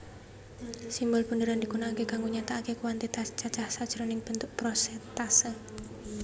Simbol bunderan digunakake kanggo nyatakake kuantitas cacah sajroning bentuk prosèntase